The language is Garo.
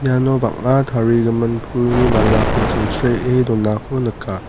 iano bang·a tarigimin pulni malako chingchree donako nika.